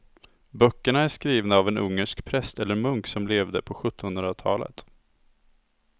Böckerna är skrivna av en ungersk präst eller munk som levde på sjuttonhundratalet.